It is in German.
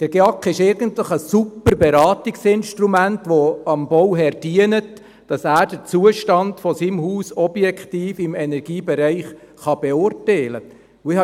Der GEAK ist eigentlich ein Super-Beratungsinstrument, das dem Bauherr dient, damit er den Zustand seines Hauses im Energiebereich objektiv beurteilen kann.